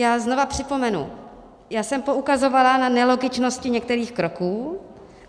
Já znova připomenu, já jsem poukazovala na nelogičnosti některých kroků.